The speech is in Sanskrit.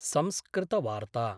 संस्कृतवार्ता